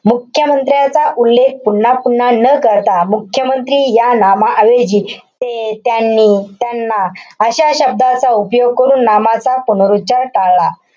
मुख्यमंत्र्यांचा उल्लेख पुन्हा पुन्हा न करता मुख्यमंत्री या नामाऐवजी ते, त्यांनी, त्यांना अशा शब्दाचा उपयोग करून नामाचा पुनरोच्चार टाळला.